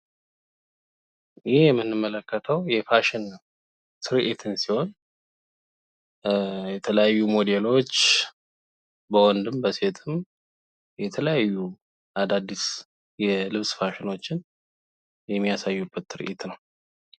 ይህ የምንመለከተው የፋሽን ትርኢትን ሲሆን የተለያዩ ሞዴሎች በወንድም በሴትም የተለያዩ አዳዲስ የልብስ ፋሽንዎችን የሚያሳዩበት ትርኢት ነው ።